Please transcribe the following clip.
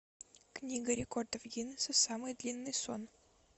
книга рекордов гиннеса самый длинный сон